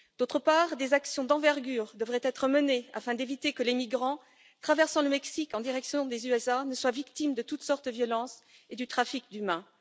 D'autre part, des actions d'envergure devraient être menées afin d'éviter que les migrants traversant le Mexique en direction des USA ne soient victimes de toutes sortes de violences et du trafic d'humains.